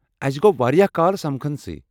اسہِ گوٚو واریٛاہ کال سمکھٕنسٕے ۔